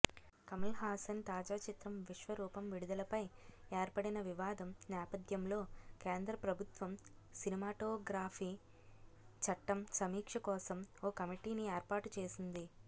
కమల్హాసన్ తాజా చిత్రం విశ్వరూపం విడుదలపై ఏర్పడిన వివాదం నేపథ్యంలో కేంద్రప్రభుత్వం సినిమాటోగ్రఫీచట్టం సమీక్షకోసం ఓ కమిటీని ఏర్పాటుచేసింది